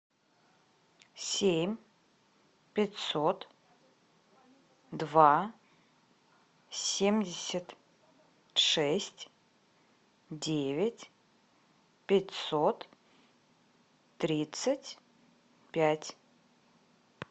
семь пятьсот два семьдесят шесть девять пятьсот тридцать пять